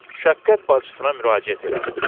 Şəfqət bacısına müraciət elədim.